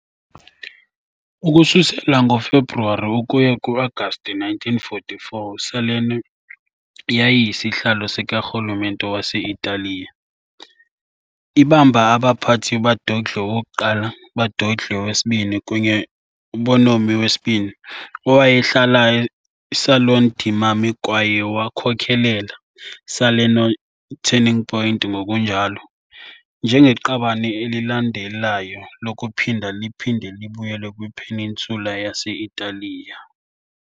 Ukususela ngoFebruwari ukuya ku-Agasti 1944 Salerno yayiyisihlalo sikarhulumente waseItaliya, ibamba abaphathi Badoglio I, Badoglio II kunye Bonomi II, owayehlala Salone Dei Marmi kwaye wakhokelela " Salerno turning point " ngokunjalo. njengeqabane elilandelayo lokuphinda liphinde libuyele kwi -peninsula yase-Italiya.